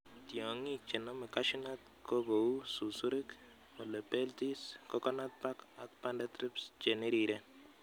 Tiong'ik chenome cashew nut ko kou susurik, helopeltis, coconut bug ak banded thrips cheniriren